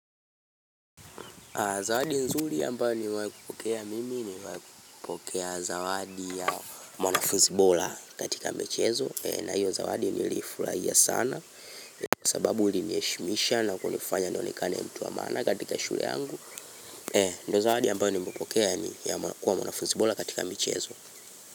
Zawadi nzuri ambayo nimewahi kupokea mimi nimewahi kupokea zawadi ya mwanafuzi bora katika michezo, na hiyo zawadi niliifurahia sana. Sababu iliniheshimisha na kunifanya nionekane mtu wa maana katika shule yangu Ndio zawadi ambayo nimepokea ni ya kuwa mwanafuzi bora katika michezo.